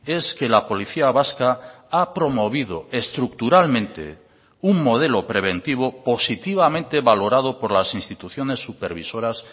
es que la policía vasca ha promovido estructuralmente un modelo preventivo positivamente valorado por las instituciones supervisoras